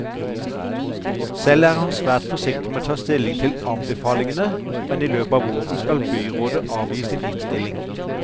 Selv er han svært forsiktig med å ta stilling til anbefalingene, men i løpet av våren skal byrådet avgi sin innstilling.